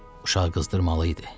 Uşaq qızdırmalı idi.